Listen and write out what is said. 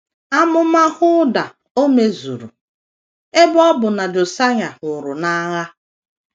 Amụma Hulda ò mezuru, ebe ọ bụ na Josaịa nwụrụ n’agha?